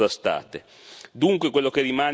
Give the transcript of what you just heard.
Tutte voci scomode e contrastate.